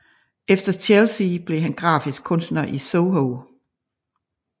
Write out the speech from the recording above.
Efter Chelsea blev han grafisk kunstner i Soho